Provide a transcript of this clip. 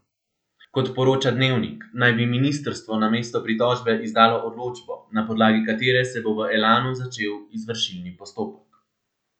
Kot poroča Dnevnik, naj bi ministrstvo namesto pritožbe izdalo odločbo, na podlagi katere se bo v Elanu začel izvršilni postopek.